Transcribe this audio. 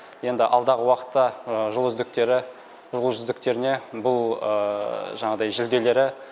енді алдағы уақытта жыл үздіктеріне бұл ыы жанағыдай жүлделері